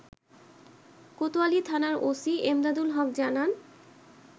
কোতোয়ালিথানার OC Emdadul Haque জানান